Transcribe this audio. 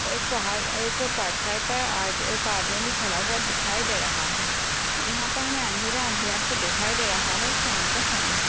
एक पहाड़ एक पत्थर पे आद- एक आदमी भी खड़ा हुआ दिखाई दे रहा है। यहां पर हमें अंधेरा अंधेरा सा दिखाई दे रहा है शाम का समय है।